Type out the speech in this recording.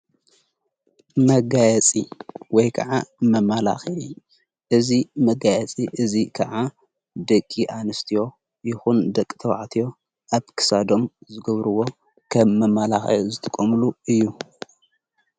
መጋያጺ ወይ ከዓ መማላኽዒ እዚ መጋያጺ እዚ ከዓ ደቂ ኣንስትዮ ይኹን ደቂ ተባዕትዮ ኣብክሳዶም ዝገብርዎ ከም መማላኽዒ ዝትቆምሉ እዩ።